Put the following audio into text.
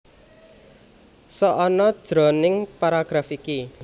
Sok ana jroning paragraf iki